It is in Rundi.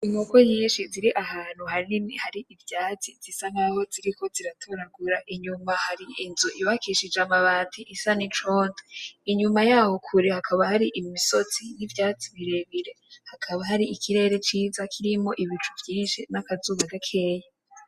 Inkoko nyinshi ziri ahantu hanini hari ivyatsi zisa naho ziriko ziratoragura, inyuma hari inzu yubakishije amabati isa n’icondo. Inyuma yaho kure hakaba hari imisozi n’ivyatsi birebire hakaba hari ikirere ciza kirimwo ibicu vyinshi n’akazuba gakeyi.